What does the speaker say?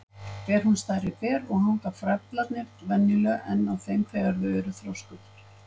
Ber hún stærri ber og hanga frævlarnir venjulega enn á þeim þegar þau eru þroskuð.